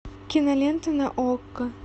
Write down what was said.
кинолента на окко